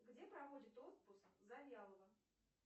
где проводит отпуск завьялова